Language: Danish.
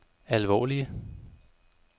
alvorlige